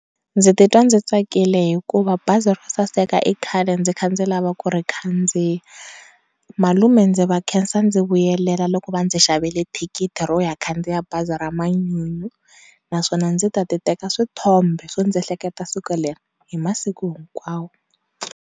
Ndzi titwa ndzi tsakile hikuva bazi ro saseka i khale ndzi kha ndzi lava ku ri khandziya, malume ndzi va khensa ndzi vuyela loko va ndzi xavele thikithi ro ya khandziya bazi ra manyunyu naswona ndzi ta ti teka swithombe swo nzi ehleketa siku leri hi masiku hikwawo.